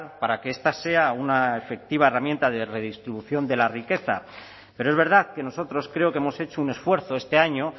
para que esta sea una efectiva herramienta de redistribución de la riqueza pero es verdad que nosotros creo que hemos hecho un esfuerzo este año